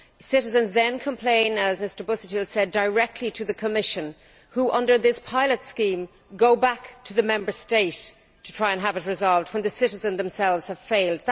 Citizens then complain as Mr Busuttil said directly to the Commission who, under this pilot scheme, go back to the Member State to try to have the matter resolved when the citizens themselves have failed.